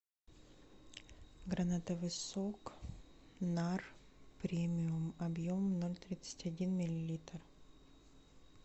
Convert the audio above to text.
гранатовый сок нар премиум объем ноль тридцать один миллилитр